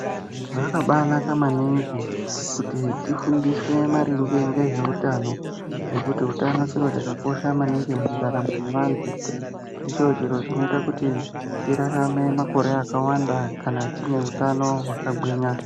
Zvakabanaka maningi kuti tifundiswe maringe nezveutano nekuti utano chiro chakakosha maningi mundaramo yevantu ndicho chiro chinoita kuti tirarame makore akawanda kana tine utano wakagwinya.